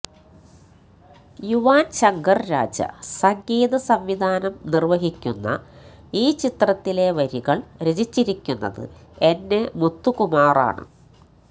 യുവാന്ശങ്കര് രാജ സംഗീത സംവിധാനം നിര്വഹിക്കുന്ന ഈ ചിത്രത്തിലെ വരികള് രചിച്ചിരിക്കുന്നത് എന് എ മുത്തുകുമാറാണ്